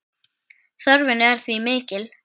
Þörfin er því mikil.